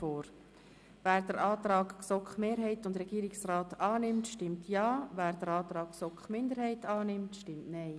Wer den Antrag GSoKMehrheit und Regierungsrat annimmt, stimmt Ja, wer den Antrag GSoK-Minderheit annimmt, stimmt Nein.